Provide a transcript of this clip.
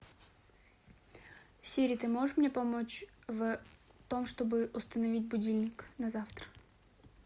сири ты можешь мне помочь в том чтобы установить будильник на завтра